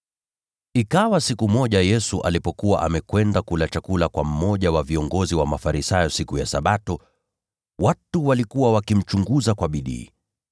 Ikawa siku moja Yesu alipokuwa amekwenda kula chakula kwa mmoja wa viongozi wa Mafarisayo siku ya Sabato, watu walikuwa wakimchunguza kwa bidii.